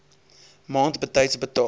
maand betyds betaal